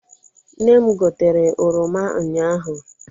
Nne m gotere oroma unyaahụ.